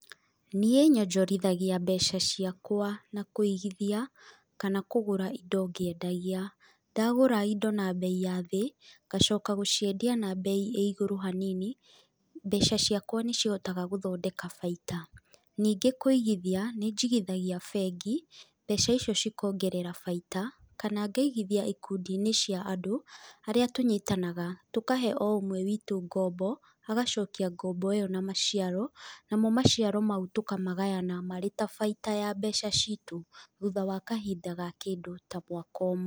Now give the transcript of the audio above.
Niĩ nyonjorithagia mbeca ciakwa na kũigithia, kana kũgũra indo ngĩendagia. Ndagũra indo na mbei ya thĩĩ ngacoka gũciendia na mbei ĩ igũrũ hanini, mbeca ciakwa nĩcihotaga gũthondeka baita. Nĩngĩ kũigithagia nĩ njĩgithagia bengi, mbeca icio cikongerera baita kana ngaigithia ikundi-inĩ cia andũ, arĩa tũnyitanaga, tũkahe o-ũmwe witũ ngombo, agacokia ngombo ĩyo na maciaro, namo maciaro mau tũkamagayana marĩ ta baita wa mbeca citũ, thutha wa kahinda ga kĩndũ ta mwaka ũmwe.